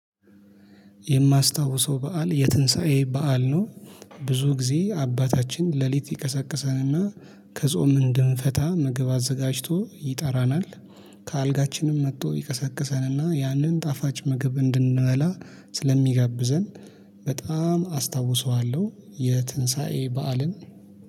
የማስታውሰው በዓል የትንሳኤ በዓል ነው። ብዙ ጊዜ አባታችን ሌሊት ይቀሳቀሰንና ከጾም እንድንፈታ ምግብ አዘጋጅቶ ይጠራናል። ከአልጋችንም መጥቶ ይቀሰቅሰንና ያንን ጣፋጭ ምግብ እንድንበላ ስለሚጋብዘን በጣም አስታውሰዋለሁ። የትንሳኤ በዓልን